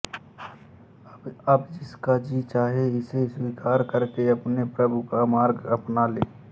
अब जिसका जी चाहे इसे स्वीकार करके अपने प्रभु का मार्ग अपना ले